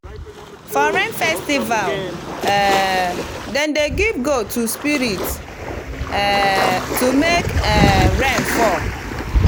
for rain festival um dem dey give goat to spirit um to make um rain fall.